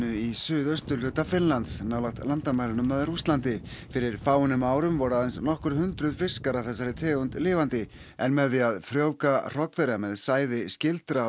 í suðausturhluta Finnlands nálægt landamærunum að Rússlandi fyrir fáeinum árum voru aðeins nokkur hundruð fiskar af þessari tegund lifandi en með því að frjóvga hrogn með sæði skyldra